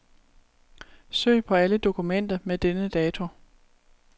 Søg på alle dokumenter med denne dato.